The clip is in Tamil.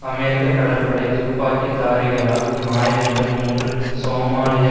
அமெரிக்க கடற்படை துப்பாக்கிதாரிகளால் ஞாயிறன்று மூன்று சோமாலிய